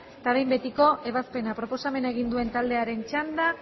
eta behin betiko ebazpena proposamena egin duen taldearen txanda